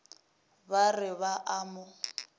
ba re ba a mo